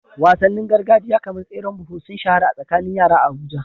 Wasannin gargajiya kamar tseren buhu sun shahara a tsakanin yara a Abuja.